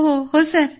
हो हो सर